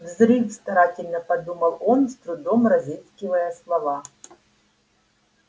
взрыв старательно подумал он с трудом разыскивая слова